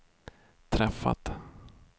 träffat